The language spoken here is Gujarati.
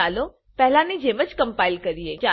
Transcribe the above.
ચાલો પહેલાની જેમ કમ્પાઈલ કરીએ